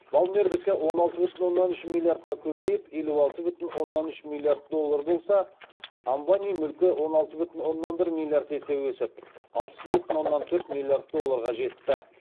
балмердікі он алты бүтін оннан үш миллиардқа көбейіп елу алты бүтін оннан үш миллиард доллар болса амбани мүлкі он алты бүтін оннан бір миллиард есе өсіп алпыс бір бүтін оннан төрт миллиард долларға жетті